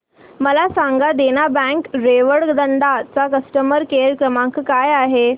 मला सांगा देना बँक रेवदंडा चा कस्टमर केअर क्रमांक काय आहे